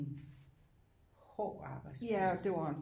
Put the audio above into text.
Hård arbejdsplads